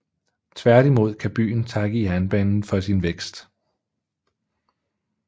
Tværtimod kan byen takke jernbanen for sin vækst